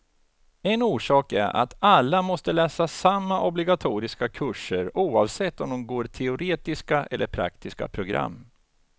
En orsak är att alla måste läsa samma obligatoriska kurser, oavsett om de går teoretiska eller praktiska program.